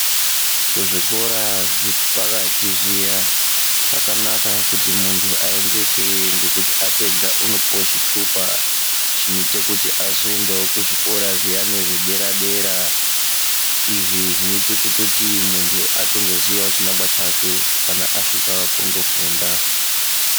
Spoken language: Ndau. Kuzvikora zvepakati zviya zvakanaka kuti muntu aeneke ngekuti apedza anopuwa chitupa chinoita kuti aende kuzvikora zvedera dera izvi Zvinoita muntu azoziva chinangwa chake kana aenda kundofunda.